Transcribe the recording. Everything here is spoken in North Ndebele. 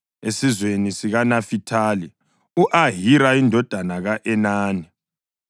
esizweni sikaNafithali; u-Ahira indodana ka-Enani.”